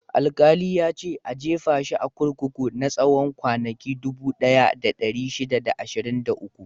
Alƙali ya ce "A jefa shi a kurkuku na tsawon kwanaki dubu ɗaya da ɗari shida da ashirin da uku!"